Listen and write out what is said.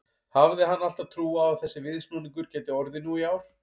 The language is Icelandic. Hafði hann alltaf trú á að þessi viðsnúningur gæti orðið nú í ár?